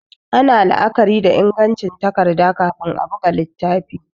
Ana la'akari da ingancin takarda kafin a buga littafi